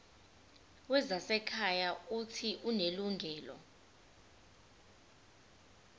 wezasekhaya uuthi unelungelo